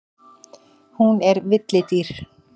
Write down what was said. Hún er villidýr.